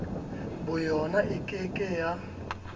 boyona e ke ke ya